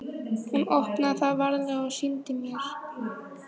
Hún opnaði það varlega og sýndi mér.